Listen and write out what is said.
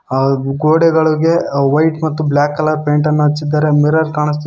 ಹಾಗೂ ಗೋಡೆಗಳಿಗೆ ವೈಟ್ ಮತ್ತು ಬ್ಲಾಕ್ ಕಲರ್ ಪೈಂಟ್ ಅನ್ನ ಹಚ್ಚಿದರೆ ಮಿರರ್ ಕಾಣಿಸ್ತಿದೆ.